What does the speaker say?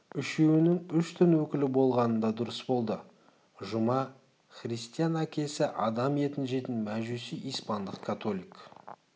үшеуінің үш дін өкілі болғаны да дұрыс болды жұма христиан әкесі адам етін жейтін мәжуси испандық католик